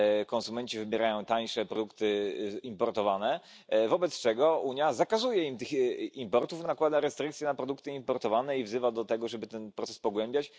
Konsumenci wybierają tańsze produkty importowane, wobec czego Unia zakazuje im importu, nakłada restrykcje na produkty importowane i wzywa do tego, żeby ten proces pogłębiać.